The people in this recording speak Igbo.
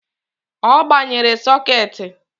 Ọ gbanyere sokeeti